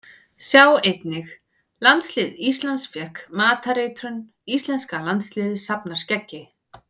Sjá einnig: Landslið Íslands fékk matareitrun Íslenska landsliðið safnar skeggi